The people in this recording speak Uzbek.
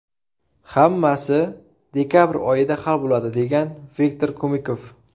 Hammasi dekabr oyida hal bo‘ladi”, degan Viktor Kumikov.